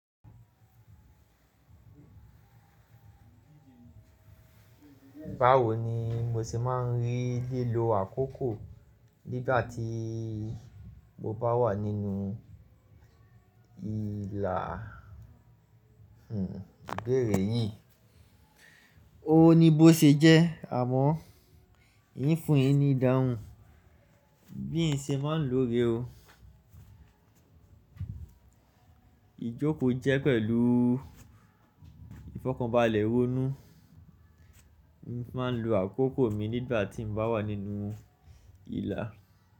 Báwo ni mo ṣe máa ń rí lílo àkókò nígbà tí mo bá wà nínú ìlà, hmm, ìbéèrè yí? O ní bó ṣe jẹ́ àmọ́ ìn fún yin ni ìdáhùn, bí n ṣe máa ń lo re o. Ijoko jẹ pẹ̀lú ìfọ̀kànbalẹ̀ ronú, ni fi máa ń lo àkókò mi nígbà tí mo bá wà nínú ìlà.